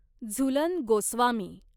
Jhulan Goswami